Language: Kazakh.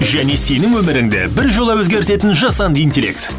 және сенің өміріңді біржола өзгертетін жасанды интеллект